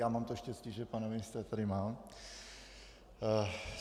Já mám to štěstí, že pana ministra tady mám.